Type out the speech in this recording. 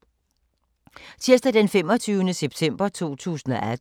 Tirsdag d. 25. september 2018